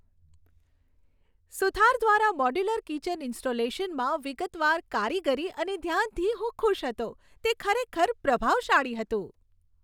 સુથાર દ્વારા modular kitchen ઇન્સ્ટોલેશનમાં વિગતવાર કારીગરી અને ધ્યાનથી હું ખુશ હતો. તે ખરેખર પ્રભાવશાળી હતું.